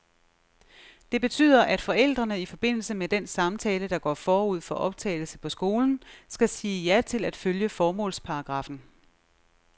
Det betyder, at forældrene i forbindelse med den samtale, der går forud for optagelse på skolen, skal sige ja til at følge formålsparagraffen.